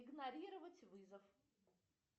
игнорировать вызов